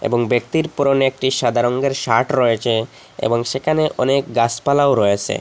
এবং ব্যক্তির পরনে একটি সাদা রঙ্গের শার্ট রয়েছে এবং সেখানে অনেক গাসপালাও রয়েসে।